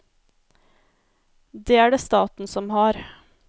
Det er det staten som har.